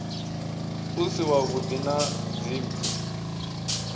u si wavhuḓi na dzimpfu